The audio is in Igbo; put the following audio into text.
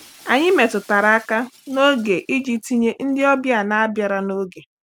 Anyị metụtara aka n'oge iji tinye ndị ọbịa na bịara n'oge.